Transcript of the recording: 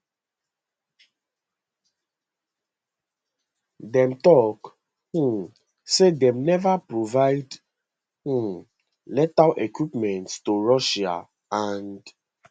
dem tok um say dem neva provide um lethal equipment to russia and